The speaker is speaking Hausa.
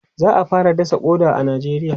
za'a fara dasa ƙoda a nijeriya